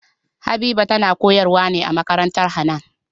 Habiba tana koyar wa ne a makarantar Hanan